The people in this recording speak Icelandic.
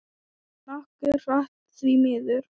Nokkuð hratt, því miður.